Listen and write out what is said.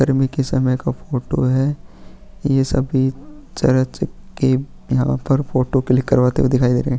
गर्मी के समय का फोटो है ये सभी चरच के यहाँ पर फोटो क्लिक करवाते हुए दिखाई दे रहें हैं।